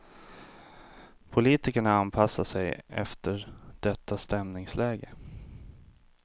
Politikerna anpassar sig efter detta stämningsläge.